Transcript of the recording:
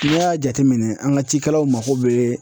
N'i y'a jateminɛ an ka cikɛlaw mako be